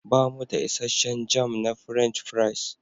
Bamu da isasshen jam na French fries.